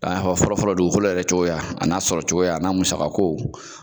K'a y'a fɔ fɔlɔfɔlɔ dugukolo yɛrɛ cogoya a n'a sɔrɔ cogoya a n'a musakako